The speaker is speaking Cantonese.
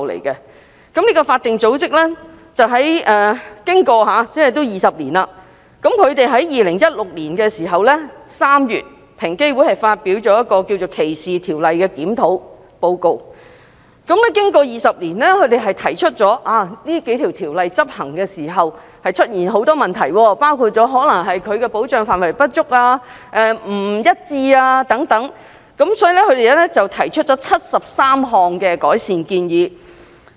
這個法定組織已歷時20年，在2016年3月，平機會發表了一份關於歧視條例檢討意見書，提出該數項反歧視條例經過20年在執行時出現很多問題，包括保障範圍不足、不一致等，並提出73項改善建議。